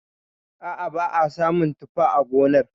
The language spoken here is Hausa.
A'a ba a samun tuffa a gonar.